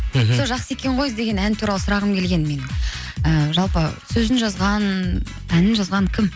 мхм сол жақсы екен ғой деген ән туралы сұрағым келген менің і жалпы сөзін жазған әнін жазған кім